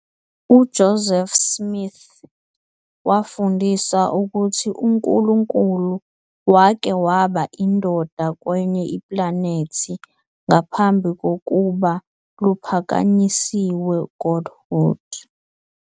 UJoseph Smith wafundisa ukuthi uNkulunkulu wake waba indoda kwenye iplanethi ngaphambi kokuba luphakanyisiwe godhood.